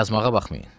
Yazmağa baxmayın.